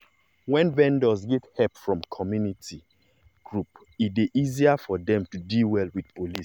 when vendors get help from community groups e dey easier for dem to deal well with police.